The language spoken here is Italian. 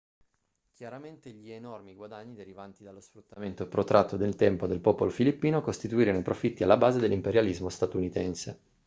chiaramente gli enormi guadagni derivanti dallo sfruttamento protratto nel tempo del popolo filippino costituirono i profitti alla base dell'imperialismo statunitense